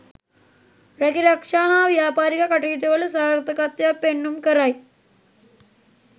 රැකිරක්ෂා හා ව්‍යාපාරික කටයුතුවල සාර්ථකත්වයක් පෙන්නුම් කරයි.